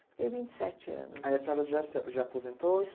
Fiquei vinte e sete anos. Aí a senhora já se já aposentou-se?